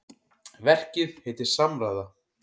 Verkið heitir Samræða.